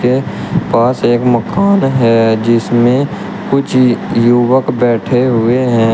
ये पास एक मकान हैं जिसमें कुछ युवक बैठे हुए हैं।